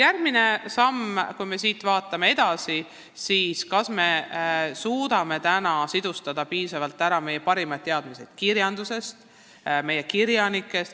Järgmine samm, vaatame edasi: kas me suudame täna piisavalt ära kasutada meie parimaid teadmisi kirjandusest, meie kirjanikest?